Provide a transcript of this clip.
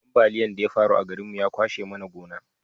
ambaliyan da ya faru a garin mu ya kwashe mana gona